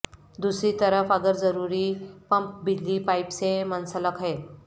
دوسری طرف اگر ضروری پمپ بجلی پائپ سے منسلک ہے